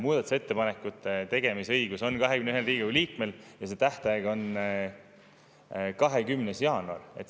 Muudatusettepanekute tegemise õigus on Riigikogu liikmel ja tähtaeg on 20. jaanuar.